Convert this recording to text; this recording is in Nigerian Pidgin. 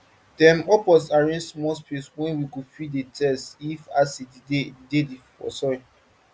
dem up us arrange small place wey we go fit dey test if acid dey dey for soil